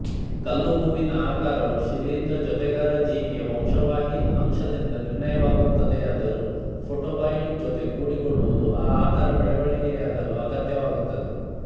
ಕಲ್ಲುಹೂವಿನ ಆಕಾರವು ಶಿಲೀಂಧ್ರ ಜೊತೆಗಾರ ಜೀವಿಯ ವಂಶವಾಹಿ ಅಂಶದಿಂದ ನಿರ್ಣಯವಾಗುತ್ತದೆಯಾದರೂ ಫೋಟೋಬಯಂಟ್ ಜೊತೆ ಕೂಡಿಕೊಳ್ಳುವುದು ಆ ಆಕಾರ ಬೆಳಣಿಗೆಯಾಗಲು ಅಗತ್ಯವಾಗುತ್ತದೆ